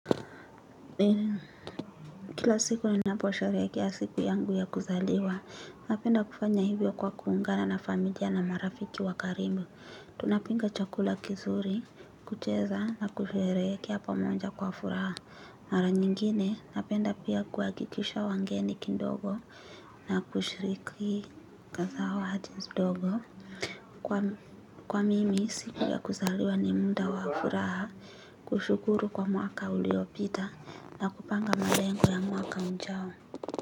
Kila siku, ninapoherehekea siku yangu ya kuzaliwa napenda kufanya hivyo kwa kuungana na familia na marafiki wa karibu. Tunapinga chakula kizuri, kucheza na kusherehekea pamoja kwa furaha. Mara nyingine, napenda pia, kuhakikisha wangeni kindogo. Na kushiriki kaza wa hadins dogo. Kwa mimi, siku ya kuzaliwa ni munda wa furaha. Kushukuru kwa mwaka uliopita na kupanga malengo ya mwaka ujao.